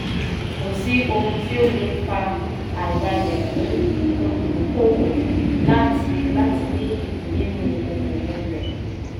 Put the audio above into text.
kò sí ohun tí o le fà àìbale fún olùdókòwò láti láti ní ìpín nínú okòwò rẹ.